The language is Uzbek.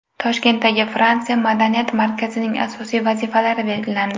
Toshkentdagi Fransiya madaniyat markazining asosiy vazifalari belgilandi.